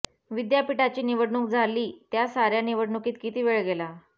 विद्यापीठाची निवडणूक झाली त्या साऱ्या निवडणुकीत किती वेळ गेला